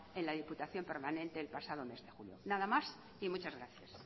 en la diputación permanente el pasado mes de julio nada más y muchas gracias